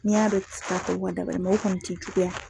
N'i y'a dɔn i tɛ se ka kɔni tɛ i juguya.